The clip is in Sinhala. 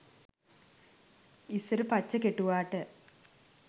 ඉස්සර පච්ච කෙටුවාට